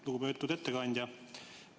Lugupeetud ettekandja!